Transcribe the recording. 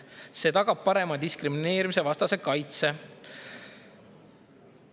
See tagab parema diskrimineerimisevastase kaitse.